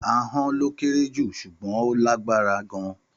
Àhon lo kẹrẹ jú sugbon ò làgbàrá gàn.